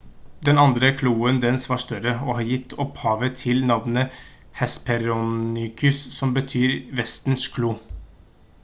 den andre kloen dens var større og har gitt opphavet til navnet hesperonychus som betyr «vestern-klo»